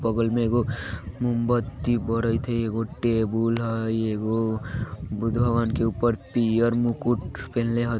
बगल में एगो मोमबत्ती बैरेत हेय एगो टेबुल हेय एगो बुद्ध भगवान के ऊपर पीयर मुकुट पिहिन्ले।